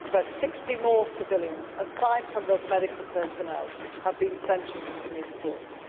About 60 more civilians, aside from those medical personnel, have been sentenced in these courts.